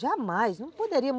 Jamais, não poderia.